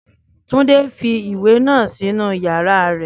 Túndé fi ìwé náà sínu yàrá rẹ̀